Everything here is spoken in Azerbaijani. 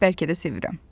Bəlkə də sevirəm.